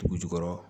Dugu jukɔrɔ